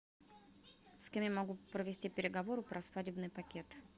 с кем я могу провести переговоры про свадебный пакет